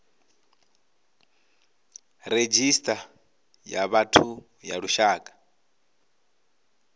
redzhisita ya vhathu ya lushaka